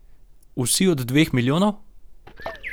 Vsi od dveh milijonov?